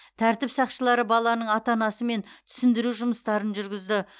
тәртіп сақшылары баланың ата анасымен түсіндіру жұмыстарын жүргізді